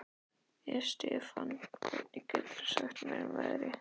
Estefan, hvað geturðu sagt mér um veðrið?